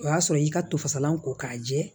O y'a sɔrɔ y'i ka to fasalan ko k'a jɛ